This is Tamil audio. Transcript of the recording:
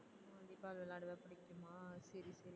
volley ball விளையாடுவ புடிக்குமா சரி சரி